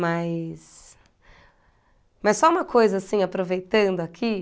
Mais... Mas só uma coisa, assim, aproveitando aqui.